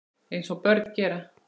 Eins og börn gera.